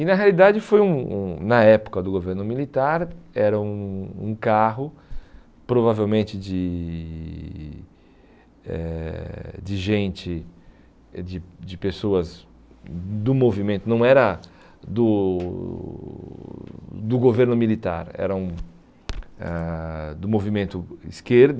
E na realidade foi um um, na época do governo militar, era um um carro provavelmente de eh de gente, eh de de pessoas do movimento, não era do do governo militar, eram ãh do movimento